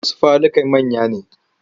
Wasu falukan manya ne.